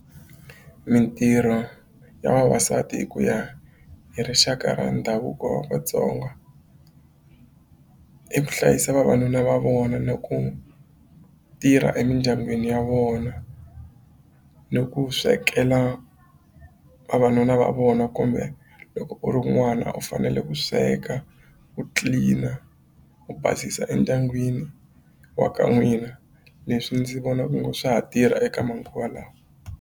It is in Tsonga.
Mitirho ya vavasati hi ku ya hi rixaka ra ndhavuko wa Vatsonga i ku hlayisa vavanuna va vona, na ku tirha emindyangwini ya vona, ni ku swekela vavanuna va vona kumbe loko u ri n'wana u fanele ku sweka ku tlilina u basisa endyangwini wa ka n'wina leswi ndzi vona onge swa ha tirha eka manguva lawa.